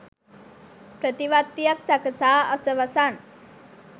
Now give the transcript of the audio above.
ප්‍රතිවත්තියක් සකසා අසවසන්